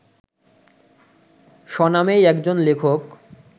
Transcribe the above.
স্বনামেই একজন লেখক